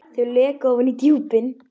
Þau leka ofan í djúpin.